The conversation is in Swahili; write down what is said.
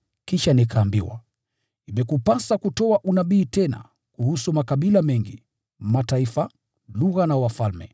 Kisha nikaambiwa, “Imekupasa kutoa unabii tena kuhusu makabila mengi, mataifa, lugha na wafalme.”